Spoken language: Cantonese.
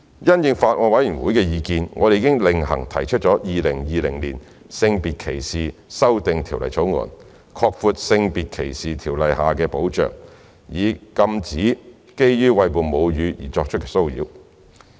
因應法案委員會的意見，我們已另行提出《2020年性別歧視條例草案》，擴闊《性別歧視條例》下的保障，以禁止基於餵哺母乳而作出的騷擾。